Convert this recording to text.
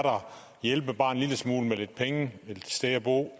hjælpe i syrien og